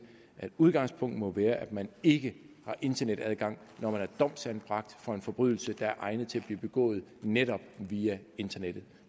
at udgangspunktet må være at man ikke har internetadgang når man er domsanbragt for en forbrydelse der er egnet til at blive begået netop via internettet